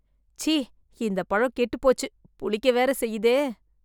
ச்சீ.. இந்த பழம் கெட்டுப் போச்சு. புளிக்க வேற செய்யுதே